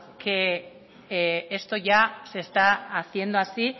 que esto ya se está haciendo así